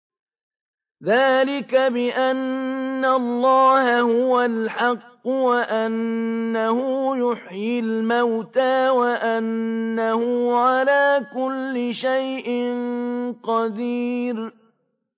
ذَٰلِكَ بِأَنَّ اللَّهَ هُوَ الْحَقُّ وَأَنَّهُ يُحْيِي الْمَوْتَىٰ وَأَنَّهُ عَلَىٰ كُلِّ شَيْءٍ قَدِيرٌ